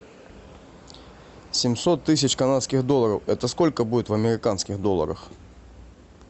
семьсот тысяч канадских долларов это сколько будет в американских долларах